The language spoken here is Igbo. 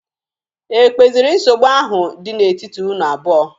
E kpeziri nsogbu ahụ dị n'etiti unu abụọ?